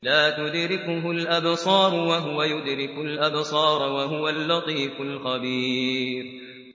لَّا تُدْرِكُهُ الْأَبْصَارُ وَهُوَ يُدْرِكُ الْأَبْصَارَ ۖ وَهُوَ اللَّطِيفُ الْخَبِيرُ